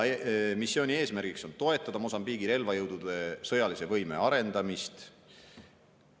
Missiooni eesmärk on toetada Mosambiigi relvajõudude sõjalise võime arendamist.